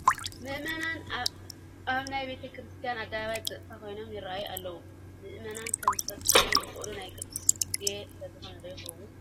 ምእመናን ኣብ ናይ ቤተ ክርስቲያን ኣደባባይ ብፀጥታ ኮይኖም ይርአዩ ኣለዉ፡፡ ምእመናን ከምዚ ፀጥ ክብሉ ዝኸኣሉ ናይ ቅዳሴ ግዜ ስለዝኾነ ዶ ይኸውን?